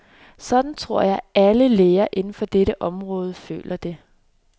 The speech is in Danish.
Sådan tror jeg, alle læger inden for dette område føler det.